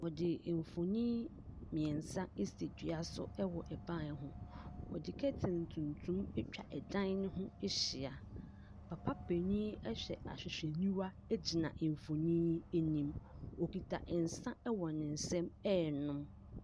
Wɔde mfonin mmeɛnsa asi dua so wɔ ban ho. Wɔde curtain tuntum atwa dan no ho ahyia. Papa panin hyɛ ahwehwɛniwa gyina mfonin yi anim. Ɔkita nsa wɔ ne nsam renom.